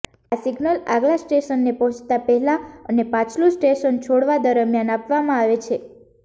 આ સિગ્નલ આગલા સ્ટેશને પહોંચતાં પહેલાં અને પાછલું સ્ટેશન છોડવા દરમ્યાન આપવામાં આવે છે